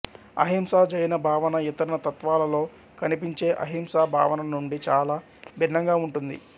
అహింసా జైన భావన ఇతర తత్వాలలో కనిపించే అహింసా భావన నుండి చాలా భిన్నంగా ఉంటుంది